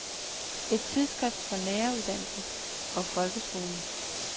Et tidsskrift for læreruddannelsen og folkeskolen.